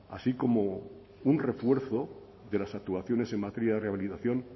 así como un refuerzo de las actuaciones en materia de rehabilitación